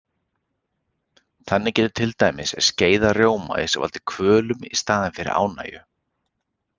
Þannig getur til dæmis skeið af rjómaís valdið kvölum í staðinn fyrir ánægju.